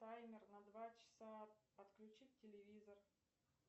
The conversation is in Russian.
таймер на два часа отключить телевизор